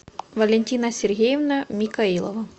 валентина сергеевна микаилова